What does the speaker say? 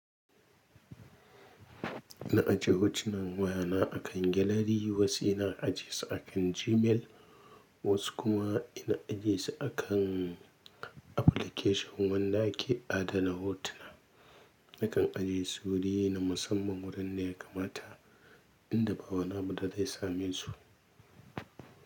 Ina ajiye hotunan wayana akan gelari, wasu ina ajiyesu akan Gmail, wasu kuma ina ijjiyesu akan application wanda ke adana hotuna. Nakan ajiyesu wuri na musamman wurin ne ya kamata. Inda ba wani abu da zai same su.